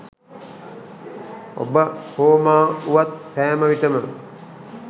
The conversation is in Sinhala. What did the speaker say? ඔබ හෝ මා වුවත් සෑම විටම